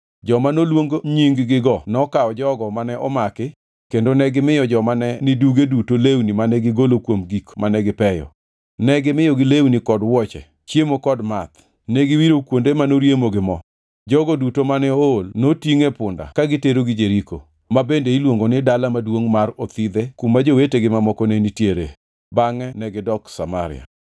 Joma noluong nying-gigo nokawo jogo mane omaki kendo negimiyo joma ne niduge duto lewni mane gigolo kuom gik mane gipeyo. Ne gimiyogi lewni kod wuoche, chiemo kod math, ne giwiro kuonde manoriemo gi mo. Jogo duto mane ool notingʼ e punde ka giterogi Jeriko, ma bende iluongo ni Dala Maduongʼ mar Othidhe kuma jowetegi mamoko ne nitiere, bangʼe negidok Samaria.